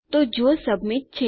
તો જો સબમિટ છે